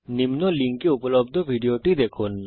নিম্ন লিঙ্কে উপলব্ধ ভিডিওটি দেখুন